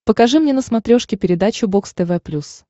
покажи мне на смотрешке передачу бокс тв плюс